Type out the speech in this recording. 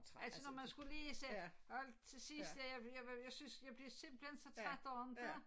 Altså når man skulle lige sætte alt til sidst dér jeg var jeg var jeg synes jeg blev simpelthen så træt af inte